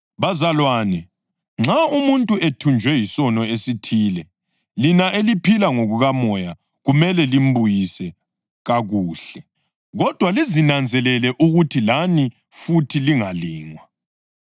Bazalwane, nxa umuntu ethunjwe yisono esithile lina eliphila ngokoMoya kumele limbuyise kakuhle. Kodwa lizinanzelele ukuthi lani futhi lingalingwa.